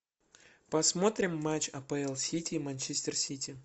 посмотрим матч апл сити и манчестер сити